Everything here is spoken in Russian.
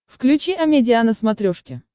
включи амедиа на смотрешке